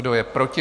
Kdo je proti?